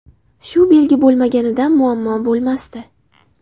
Shu belgi bo‘lmaganda, muammo bo‘lmasdi.